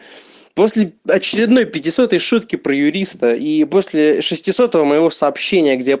после очередной пятисотой шутки про юриста и после шестисотого моего сообщения где я